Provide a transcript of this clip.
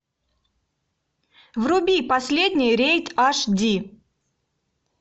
вруби последний рейд аш ди